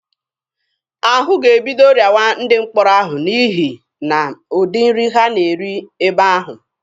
Ahụ ga-ebido rịawa ndị mkpọrọ ahụ n'ihi na ụdị nri ha na-eri ebe ahụ.